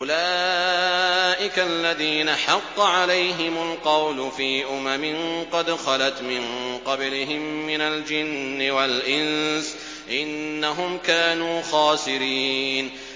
أُولَٰئِكَ الَّذِينَ حَقَّ عَلَيْهِمُ الْقَوْلُ فِي أُمَمٍ قَدْ خَلَتْ مِن قَبْلِهِم مِّنَ الْجِنِّ وَالْإِنسِ ۖ إِنَّهُمْ كَانُوا خَاسِرِينَ